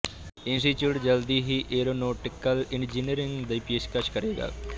institute ਜਲਦੀ ਹੀ aeronautical engineering ਦੀ ਪੇਸ਼ਕਸ਼ ਕਰੇਗਾ